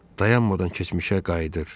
Dəyanmadan keçmişə qayıdır.